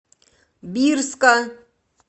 бирска